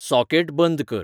socket बंद कर